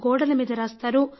గోడల మీద రాస్తారు